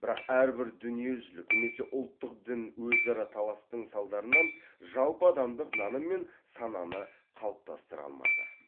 бірак әрбір дүниежүзілік немесе ұлттық дін өзара таластың салдарынан жалпыадамдық наным мен сананы қалыптастыра алмады